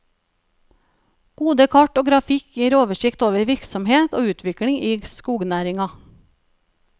Gode kart og grafikk gir oversikt over virksomhet og utvikling i skognæringa.